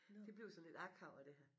Det bliver sådan lidt akavet det her